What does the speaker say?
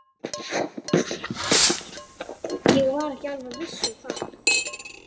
Ég var ekki alveg viss um það.